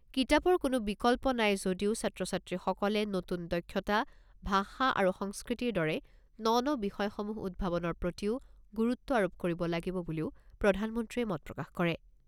কিতাপৰ কোনো বিকল্প নাই যদিও ছাত্ৰ ছাত্ৰীসকলে নতুন দক্ষতা, ভাষা আৰু সংস্কৃতিৰ দৰে ন ন বিষয়সমূহ উদ্ভাৱনৰ প্ৰতিও গুৰুত্ব আৰোপ কৰিব লাগিব বুলিও প্ৰধানমন্ত্ৰীয়ে মত প্ৰকাশ কৰে।